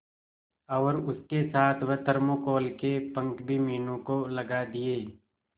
और उसके साथ वह थर्माकोल के पंख भी मीनू को लगा दिए